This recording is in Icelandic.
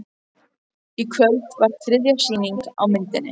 Í kvöld var þriðja sýning á myndinni